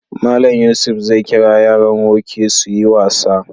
Mallam Yusuf zai kira yaran woke su yi wasa.